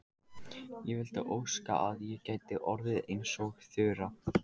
Ég vildi óska að ég gæti orðið eins og Þura.